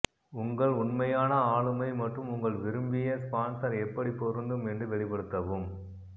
உங்கள் உண்மையான ஆளுமை மற்றும் உங்கள் விரும்பிய ஸ்பான்ஸர் எப்படி பொருந்தும் என்று வெளிப்படுத்தவும்